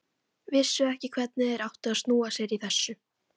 Vissu ekki hvernig þeir áttu að snúa sér í þessu.